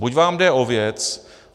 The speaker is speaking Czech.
Buď vám jde o věc.